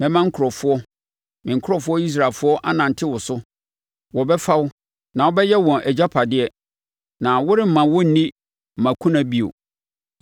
Mɛma nkurɔfoɔ, me nkurɔfoɔ Israelfoɔ, anante wo so. Wɔbɛfa wo na wobɛyɛ wɔn agyapadeɛ na woremma wɔnni mmakuna bio.